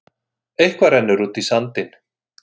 Eitthvað rennur út í sandinn